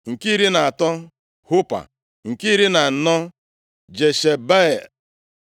nke iri na atọ, Hupa nke iri na anọ, Jeshebeab